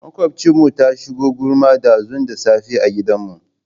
Maƙwabciyarmu ta shigo gulma ɗazu da safe a gidanmu.